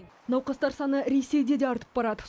науқастар саны ресейде де артып барады